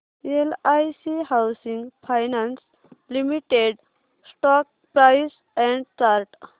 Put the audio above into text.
LIC housing finance limited stock price and chart